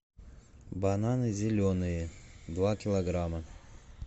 бананы зеленые два килограмма